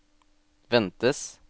ventes